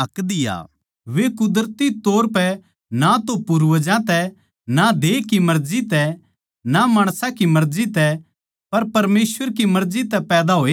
वो कुदरती तौर पै ना तो पूर्वजां तै ना देह की मर्जी तै ना माणसां की मर्जी तै पर परमेसवर की मर्जी तै पैदा होया सै